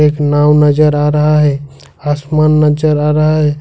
एक नाव नजर आ रहा है आसमान नजर आ रहा है।